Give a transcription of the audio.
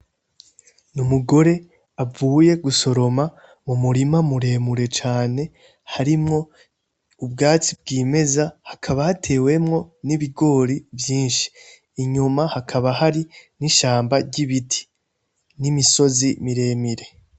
Ni umugore avuye gusoroma mu murima muremure cane harimwo ubwatsi bw'imeza hakaba hatewemwo n'ibigori vyinshi inyoma hakaba hari n'ishamba ry'ibiti n'imisozi miremire.